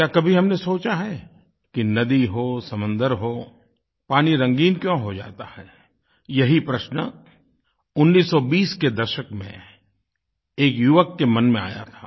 क्या कभी हमने सोचा है कि नदी हो समुन्दर हो पानी रंगीन क्यों हो जाता है यही प्रश्न 1920 के दशक में एक युवक के मन में आया था